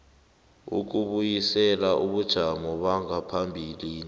ukubuyisela ebujameni bangaphambilini